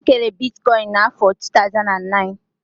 E kere Bitikoin na afọr 2009